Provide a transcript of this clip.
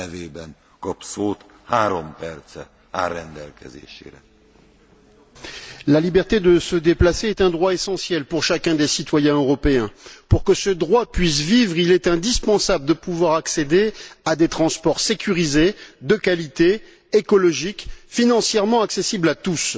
Monsieur le Président, la liberté de se déplacer est un droit essentiel pour chacun des citoyens européens. Pour que ce droit puisse vivre, il est indispensable de pouvoir accéder à des transports sécurisés de qualité, écologiques, financièrement accessibles à tous.